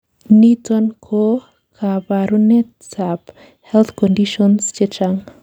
niton ko kabarunet ab health conditions chechang